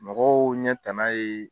Mɔgɔw ɲɛ ta na ye.